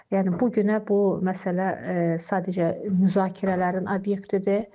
Yəni bu günə bu məsələ sadəcə müzakirələrin obyektidir.